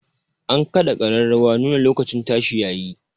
An kaɗa ƙararrawar nuna lokacin tashi ya yi